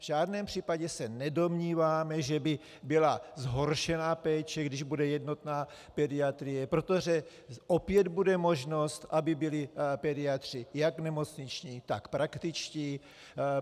V žádném případě se nedomníváme, že by byla zhoršená péče, když bude jednotná pediatrie, protože opět bude možnost, aby byli pediatři jak nemocniční, tak praktičtí.